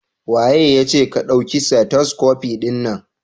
Waye yace ka dauki stethoscope din nan?